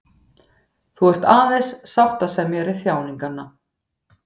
Þú ert aðeins sáttasemjari þjáninganna.